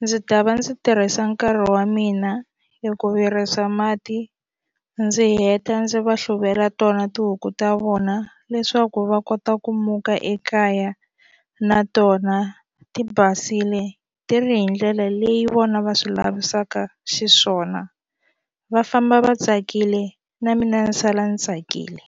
ndzi ta va ndzi tirhisa nkarhi wa mina hi ku virisa mati ndzi heta ndzi va hluvela tona tihuku ta vona leswaku va kota ku muka ekaya na tona ti basile ti ri hi ndlela leyi vona va swi lavisaka xiswona va famba va tsakile na mina ni sala ni tsakile.